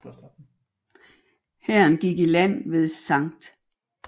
Hæren gik i land ved St